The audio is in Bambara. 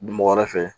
Mɔgɔ wɛrɛ fɛ